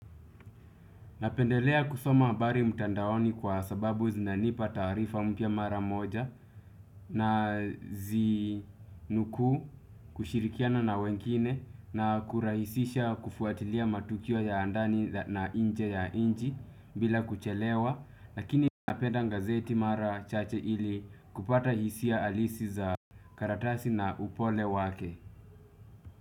Napendelea kusoma habari mtandaoni kwa sababu zinanipa taarifa mpya mara moja nazinukuu kushirikiana na wengine na kurahisisha kufuatilia matukio ya ndani na nje ya nchi bila kuchelewa lakini napenda ngazeti mara chache ili kupata hisia halisi za karatasi na upole wake.